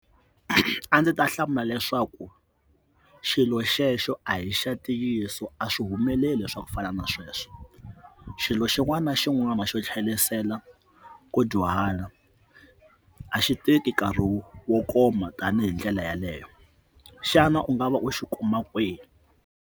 A ndzi ta hlamula leswaku xilo xexo a hi xa ntiyiso a swi humeleli swa ku fana na sweswo xilo xin'wana na xin'wana xo tlhelisela ko dyuhala a xi tiki nkarhi wo wo koma tanihi ndlela yaleyo xana u nga va u xi kuma kwihi.